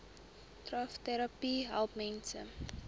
trvterapie help mense